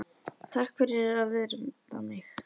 Takk fyrir að virða mig.